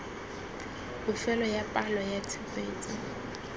bofelo ya palo ya tshupetso